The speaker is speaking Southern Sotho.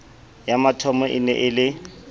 ya mathomo e ne e